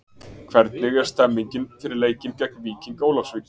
Hvernig er stemmingin fyrir leikinn geng Víking Ólafsvík?